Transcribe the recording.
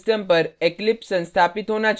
आपके system पर eclipse संस्थापित होना चाहिए